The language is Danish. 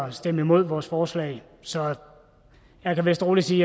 at stemme imod vores forslag så jeg kan vist rolig sige